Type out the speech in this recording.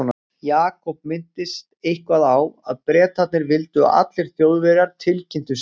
Jakob minntist eitthvað á að Bretarnir vildu að allir Þjóðverjar tilkynntu sig.